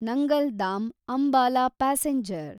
Nangal dam Ambala passenger